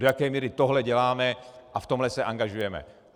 Do jaké míry tohle děláme a v tomhle se angažujeme.